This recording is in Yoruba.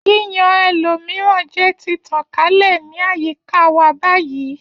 Yíyan ẹlòmíràn jẹ ti tàn kálẹ̀ ní àyíká wa báyìí